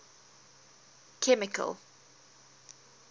chemical